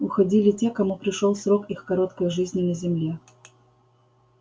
уходили те кому пришёл срок их короткой жизни на земле